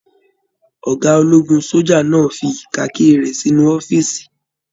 Ọgá ológun soja náà fí kaki rẹ sínú ọ̀fiísí.